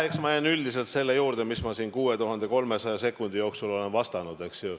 Eks ma jään üldiselt selle juurde, mis ma siin 6300 sekundi jooksul olen vastanud, eks ju.